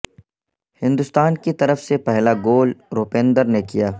ہندوستان کی طرف سے پہلا گول روپندر نے کیا